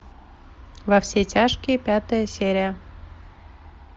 во все тяжкие пятая серия